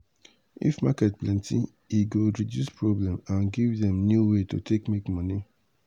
if market plenty e go reduce problem and give dem new way to take make money.